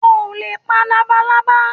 O ò lè pa labalábá